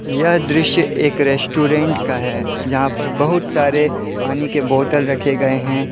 यह दृश्य एक रेस्टोरेंट का है जहां पर बहुत सारे पानी के बोतल रखे गए हैं।